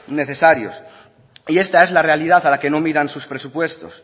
necesarios y esta es la realidad a la que no miran sus presupuestos